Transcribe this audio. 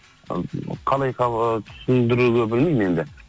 қалай түсіндіруді білмеймін енді